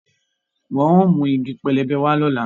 Wọn óò mú igi pẹlẹbẹ wá lọ́la